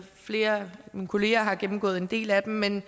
flere af mine kolleger har gennemgået en del af dem men